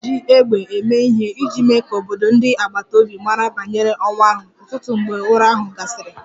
A na-eji égbè eme ihe iji mee ka obodo ndị agbata obi mara banyere ọnwụ ahụ, ụtụtụ mgbe ụra ahụ gasịrị